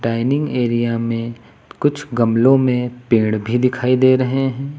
Dining area में कुछ गमलों में पेड़ भी दिखाई दे रहे हैं।